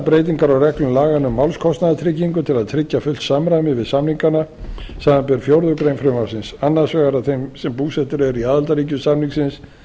breytingar á reglum laganna um málskostnaðartryggingu til að tryggja fullt samræmi við samningana samanber fjórðu grein frumvarpsins annars vegar að þeir sem búsettir eru í aðildarríkjum samningsins